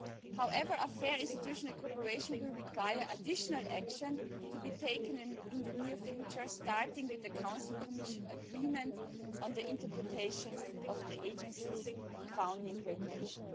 However, fair interinstitutional cooperation will require additional action to be taken in the near future, starting with the Council and Commission agreement on the interpretation of the Agency's founding regulation.